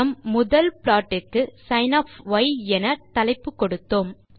நம் முதல் ப்ளாட் க்கு சின் என தலைப்பு கொடுத்தோம்